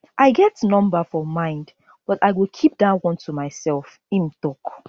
i get number for mind but i go keep dat one to myself im tok